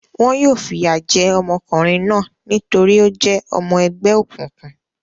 Wọn yóò fìyà jẹ ọmọkùnrin náà nítorí ó jẹ́ ọmọ ẹgbẹ́ òkùnkùn.